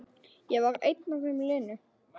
Ég var einn af þeim linu.